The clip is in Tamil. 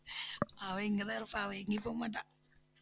அவ இங்கதான் இருப்பா அவ எங்கயும் போக மாட்டா